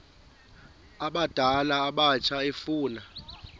abadala abatsha efuna